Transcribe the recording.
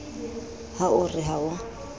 ha o re ha o